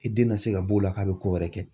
I den na se ka b'o la k'a bɛ ko wɛrɛ kɛ.